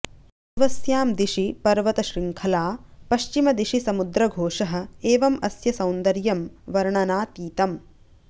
पूर्वस्यां दिशि पर्वतशृङ्खला पश्चिमदिशि समुद्रघोषः एवम् अस्य सौन्दर्यं वर्णनातीतम्